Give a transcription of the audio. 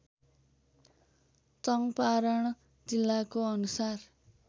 चङ्पारण जिल्लाको अनुसार